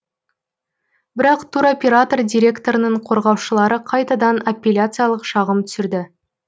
бірақ туроператор директорының қорғаушылары қайтадан аппеляциялық шағым түсірді